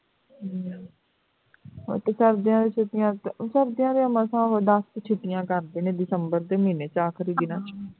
ਹੂ ਸਰਦੀਆਂ ਦੀਆਂ ਛੁੱਟੀਆਂ ਸਰਦੀਆਂ ਦੀ ਮਸਾਂ ਕ ਉਹ ਦਸ ਕੁ ਛੋਟੀਆਂ ਕਰਦੇ ਨੇ december ਦੇ ਮਹੀਨੇ ਚ ਆਖ਼ਰੀ ਦਿਨਾਂ ਚ